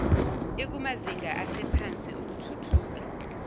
ikumazinga asephansi okuthuthuka